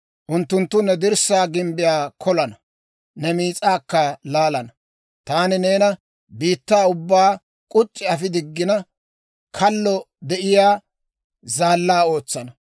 Unttunttu ne dirssaa gimbbiyaa kolana; ne miis'aakka laalana. Taani neena biittaa ubbaa k'uc'c'i afi diggina, kallo de'iyaa zaallaa ootsana.